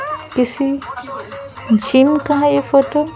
किसी जिम का है ये फोटो --